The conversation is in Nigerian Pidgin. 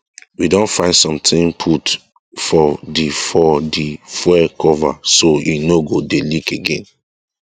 we don find somthing put for the for the fuel cover so e no go dey leak again